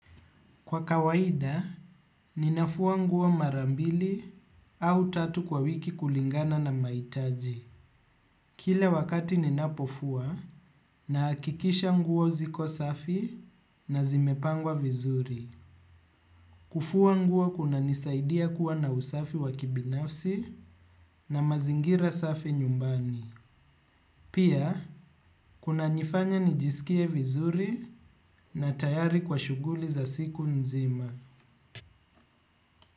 Kwa kawaida, ninafua nguo marambili au tatu kwa wiki kulingana na maitaji. Kile wakati ninapofua na hakikisha nguo ziko safi na zimepangwa vizuri. Kufua nguo kuna nisaidia kuwa na usafi wakibinafsi na mazingira safi nyumbani. Pia, kuna nifanya nijisikie vizuri na tayari kwa shuguli za siku nzima.